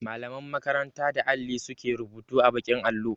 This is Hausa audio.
Mallaman makaranta da alli su ke rubutu a baƙin allo.